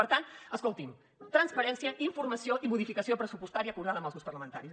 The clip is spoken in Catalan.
per tant escolti’m transparència informació i modificació pressupostària acordada amb els grups parlamentaris